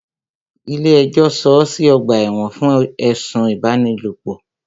Ilé ẹjọ́ sọọ́ sí ọ̀gbà ẹ̀wọ̀n fún ẹ̀sùn ipábánilòpọ̀.